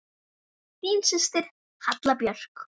Þín systir, Halla Björk.